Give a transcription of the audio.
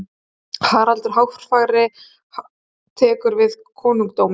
Haraldur Hárfagri tekur við konungdómi.